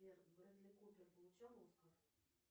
сбер бредли купер получал оскар